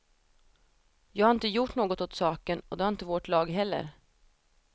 Jag har inte gjort något åt saken och det har inte vårt lag heller.